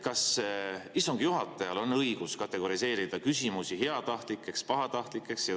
Kas istungi juhatajal on õigus kategoriseerida küsimusi heatahtlikeks ja pahatahtlikeks?